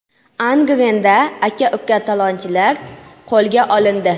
Angrenda aka-uka talonchilar qo‘lga olindi.